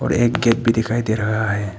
एक गेट भी दिखाई दे रहा है।